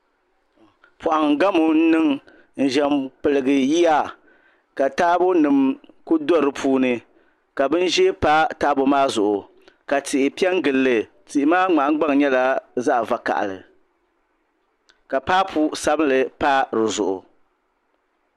Poham gamo n niŋ n ʒɛ n piligi yiya ka taabo nim ku do di puuni ka bin ʒiɛ pa taabo maa zuɣu ka tihi piɛ n gilli tihi maa nahangbaŋ nyɛla zaɣ vakaɣali ka paapu sabila pa dizuɣu